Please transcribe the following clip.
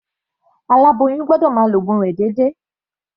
Aláboyún gbọ́dọ̀ máa lo ògun rẹ̀ déédéé.